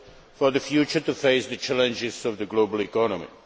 for the future in order to face the challenges of the global economy.